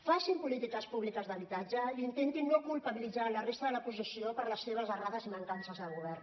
facin polítiques públiques d’habitatge i intentin no culpabilitzar la resta de l’oposició per les seves errades i mancances al govern